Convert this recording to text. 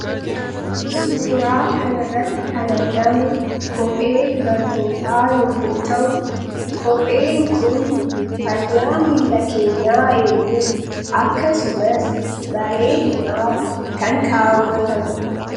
Suuraa kana irratti kan argamu kophee dubartootaa yoo ta'u, kopheen kun fayyaa miilla keenyaa eeguuf akkasumas bareedinaaf kan ka'atamudha.